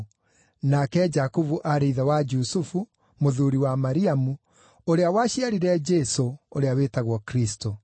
nake Jakubu aarĩ ithe wa Jusufu, mũthuuri wa Mariamu, ũrĩa waciarire Jesũ, ũrĩa wĩtagwo Kristũ.